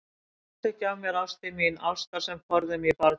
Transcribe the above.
Krefstu ekki af mér, ástin mín, ástar sem forðum ég bar til þín.